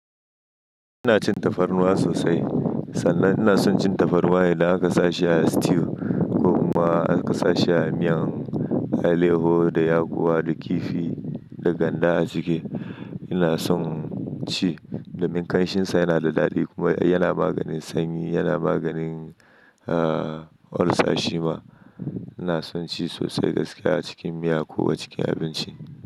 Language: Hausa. Ina cin tafarnuwa sosai sannan ina son cin tafarnuwa idan aka sa shi a stew ko kuma aka sa shi a miyan aleho da yakuwa da kifi da ganda a ciki. Ina son ci domin kanshin sa yana da daɗi kuma yana maganin sanyi, yana maganin, ah, ulcer shima. Ina son ci sosai gaskiya a cikin miya ko a cikin abinci.